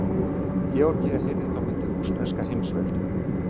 Georgía heyrði þá undir rússneska heimsveldið.